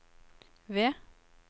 V